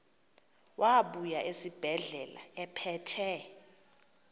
wabuya esibedlela ephethe